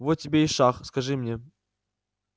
вот тебе и шах скажи мне